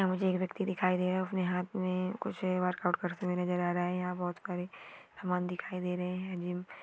यहाँ मुझे एक व्यक्ति दिखाई दे रहा है अपने हाथ मे कुछ वर्कआउट करते हुए नजर आ रहा है यहां बहुत सारे समान दिखाई दे रहे हैं जिम --